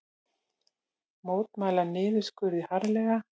Mótmæla niðurskurði harðlega